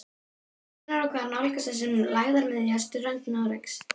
Hvenær og hvar nálgast þessi lægðarmiðja strönd Noregs?